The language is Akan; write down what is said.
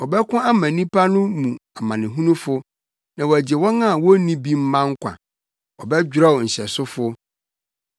Ɔbɛko ama nnipa no mu amanehunufo na wagye wɔn a wonni bi mma nkwa; ɔbɛdwerɛw nhyɛsofo.